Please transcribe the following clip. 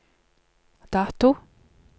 dato